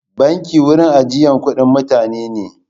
Banki wurin ajiyan kuɗin mutane ne.